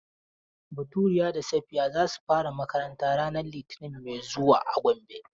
Baturiya da Safiya za su fara makaranta ranar litinin mai zuwa a Gombe.